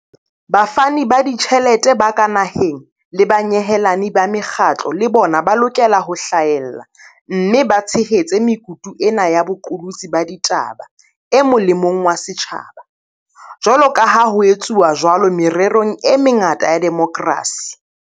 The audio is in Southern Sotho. Bafani ba ditjhelete ba ka naheng le banyehelani ba mekgatlo le bona ba lokela ho hlahella mme ba tshehetse mekutu ena ya boqolotsi ba ditaba e mo lemong wa setjhaba, jwaloka ha ho etswa jwalo mererong e mengata ya demokrasi.